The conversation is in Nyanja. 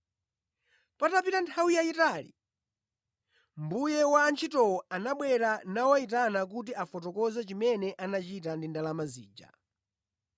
“Patapita nthawi yayitali, mbuye wa antchitowo anabwera nawayitana kuti afotokoze chimene anachita ndi ndalama zija.